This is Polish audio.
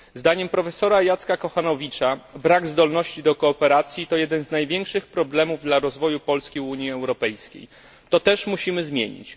Zdaniem profesora Jacka Kochanowicza brak zdolności do kooperacji to jeden z największych problemów dla rozwoju Polski i Unii Europejskiej to też musimy zmienić.